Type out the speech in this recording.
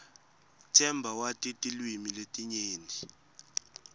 themba wati tilwimi letinyenti